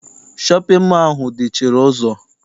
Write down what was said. Shọpịn mọọ ahụ dị chịrị ụzọ.